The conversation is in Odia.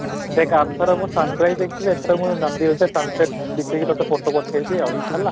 ଦେଖ ଆର ଥର ମୁଁ sunrise ଯାଇଥିଲି ଏଥର ମୁଁ ନନ୍ଦିଘୋଷା ଜାମସେଦ ବିତେଇ କି ତୋତେ photo ପଠେଇବି ଆଉ ହେଲା